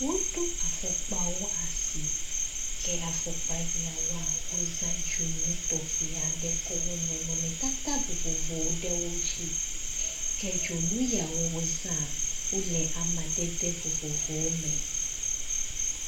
Woɖo afɔkpawo asi, ke afɔkpa siawoa, wo zã dzonu tɔxɛ aɖe tsɔwɔ nɔnɔmetata vovovowo ɖe wodzi. Ke dzonu yia wozã, wole amadede vovovowo me.